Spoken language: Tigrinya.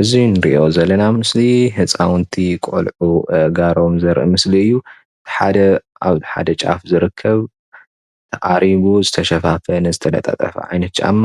እዚ ንሪኦ ዘለና ምስሊ ህፃውንቲ ቆልዑ አእጋሮም ዘርኢ ምስሊ እዩ:: ሓደ ኣብ ሓደ ጫፍ ዝ ርከብ ኣሪጉ ዝተሸፋፈነ ዝተለጣጠፈ ዓይነት ጫማ